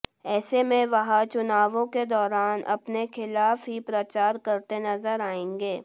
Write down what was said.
ऐसे में वह चुनावों के दौरान अपने खिलाफ ही प्रचार करते नजर आएंगे